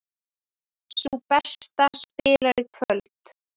Sú besta spilar í kvöld